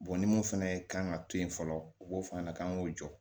ni mun fɛnɛ ka kan ka to yen fɔlɔ u b'o f'a ɲɛna k'an k'o jɔ